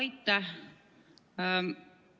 Aitäh!